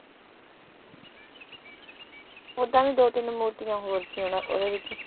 ਓਦਾਂ ਵੀ ਦੋ ਤਿੰਨ ਮੂਰਤੀਆਂ ਹੋਰ ਸੀ ਓਹਨਾ ਓਹਦੇ ਵਿੱਚ